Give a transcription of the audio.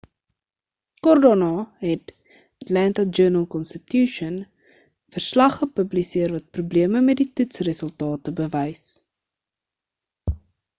kort daarna het die atlanta journal-constitution 'n verslag gepubliseer wat probleme met die toets-resultate bewys